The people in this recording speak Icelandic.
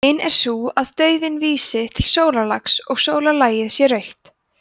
hin er sú að dauðinn vísi til sólarlags og sólarlagið sé rautt